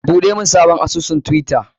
Buɗe mun sabon asusun twitter!